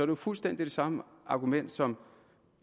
jo fuldstændig det samme argument som